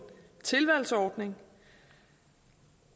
tilvalgsordning